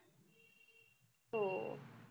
हो.